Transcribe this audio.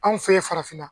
Anw fɛ yen farafinna